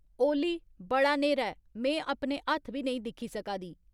ओली बड़ा न्हेरा ऐ में अपने हत्थ बी नेईं दिक्खी सका दी